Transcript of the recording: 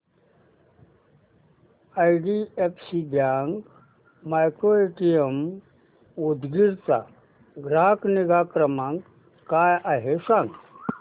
IDFC bank micro ATM Udgir चा ग्राहक निगा क्रमांक काय आहे सांगा